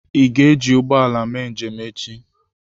Ị ga-eji ụgbọ ala mee njem echi?